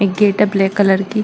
एक गेट है black colour की।